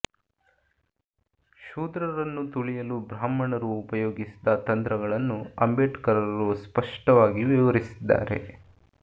ಶೂದ್ರರನ್ನು ತುಳಿಯಲು ಬ್ರಾಹ್ಮಣರು ಉಪಯೋಗಿಸಿದ ತಂತ್ರಗಳನ್ನು ಅಂಬೇಡ್ಕರರು ಸ್ಪಷ್ಟವಾಗಿ ವಿವರಿಸಿದ್ದಾರೆ